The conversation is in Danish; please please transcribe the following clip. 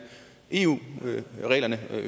eu reglerne